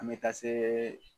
An mɛ taa se